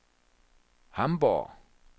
Hamborg